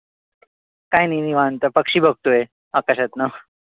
काई नाई निवांत. पक्षी बघतोय आकाशातन.